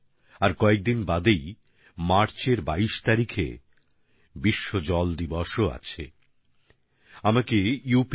কিছু দিন বাদেই মার্চ মাসের ২২ তারিখে ওয়ার্ল্ড ওয়াটার ডে বা বিশ্ব জল দিবসও আছে